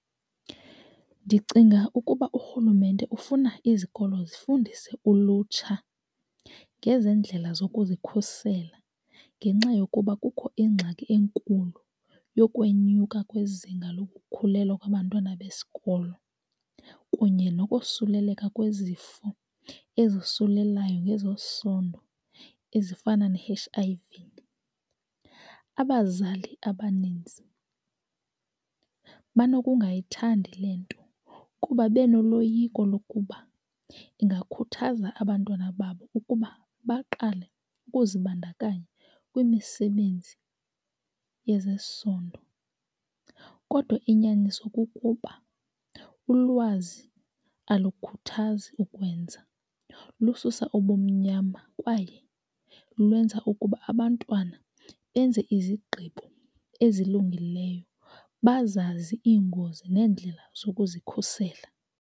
Ndicinga ukuba urhulumente ufuna izikolo zifundise ulutsha ngezendlela zokuzikhusela ngenxa yokuba kukho ingxaki enkulu yokwenyuka kwezinga lokukhulelwa kwabantwana besikolo kunye nokosuleleka kwezifo ezosulelayo ngezesondo ezifana ne-H_I_V. Abazali abaninzi banokungayithandi le nto kuba benoloyiko lokuba ingakhuthaza abantwana babo ukuba baqale ukuzibandakanya kwimisebenzi yezesondo kodwa inyaniso kukuba ulwazi alukhuthazi ukwenza, lususa ubumnyama kwaye lwenza ukuba abantwana benze izigqibo ezilungileyo, bazazi iingozi neendlela zokuzikhusela.